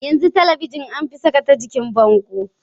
Yanzu Talabijin anfi saka ta jikin bango